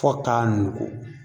Fo k'a nugu